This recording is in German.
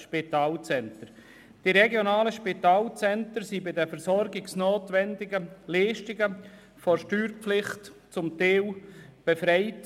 Gemäss Leistungsvereinbarung sind die RSZ bei den versorgungsnotwendigen Leistungen teilweise von der Steuerpflicht befreit.